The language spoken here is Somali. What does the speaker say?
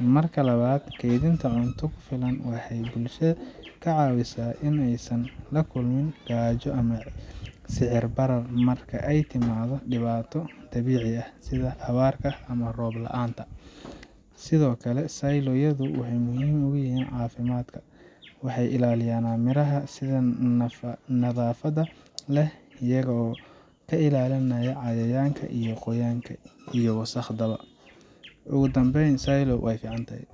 Marka labaad, kaydinta cunto ku filan waxay bulshada ka caawisaa in aysan la kulmin gaajo ama sicir barar marka ay timaado dhibaato dabiici ah, sida abaar ama roob la’aan. Sidoo kale, silo yadu waa muhiim xagga caafimaadka waxay ilaalinayaan miraha si nadaafad leh, iyaga oo ka ilaalinaya cayayaan, qoyaanka, iyo wasakhda. Ugu dambeyn, silo way fican tahay.